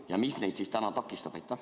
Ja mis neid täna takistab?